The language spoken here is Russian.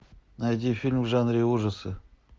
найди фильм в жанре ужасы